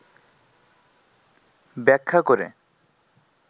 ব্যাখ্যা করে,